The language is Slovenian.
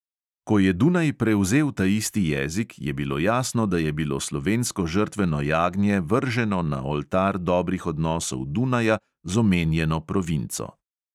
Ko je dunaj prevzel taisti jezik, je bilo jasno, da je bilo slovensko žrtveno jagnje vrženo na oltar dobrih odnosov dunaja z omenjeno provinco.